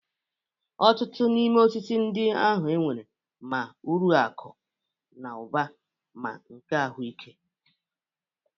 Ọtụtụ n'ime osisi ndị ahụ nwere ma uru akụ na ụba ma nke ahụike.